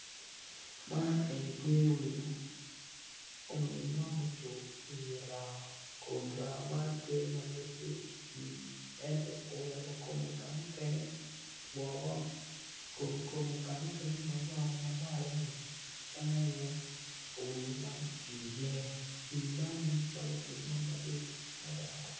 Man eni tye winyo mo ma ocung i wi raa kun raa man nongo tye ma nongo tye i pii ento oweko kome ka mukene tye woko kun kome kamukene mawoko ni aye ka ma winyo ni ocung iye.